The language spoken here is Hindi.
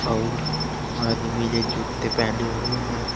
और आदमी ने जूत्ते पहने हुए हैं।